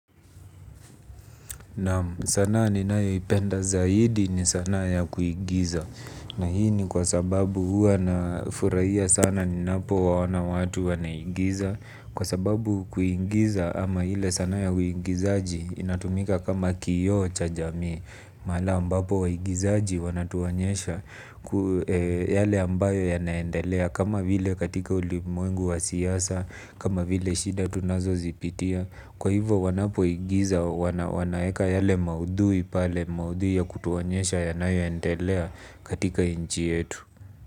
Naam sanaa ni nayo ipenda zaidi ni sanaa ya kuigiza. Na hii ni kwa sababu hua na furahia sana ni napo waona watu wanaigiza. Kwa sababu kuigiza ama ile sanaa ya kuigizaji inatumika kama kioo cha jamii. Mahala ambapo waigizaji wanatuonyesha yale ambayo ya naendelea. Kama vile katika ulimwengu wa siasa, kama vile shida tunazo zipitia. Kwa hivo wanapo igiza wanaeka yale maudhui pale maudhui ya kutuonyesha yanayo endelea katika nchi yetu.